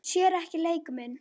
Sér ekki leik minn.